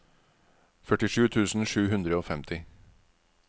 førtisju tusen sju hundre og femti